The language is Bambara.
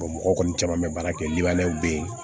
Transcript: mɔgɔ kɔni caman bɛ baara kɛ liw bɛ yen